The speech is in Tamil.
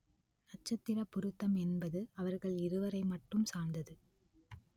நட்சத்திரப் பொருத்தம் என்பது அவர்கள் இருவரை மட்டும் சார்ந்தது